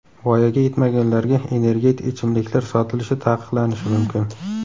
Voyaga yetmaganlarga energetik ichimliklar sotilishi taqiqlanishi mumkin.